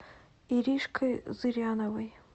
иришкой зыряновой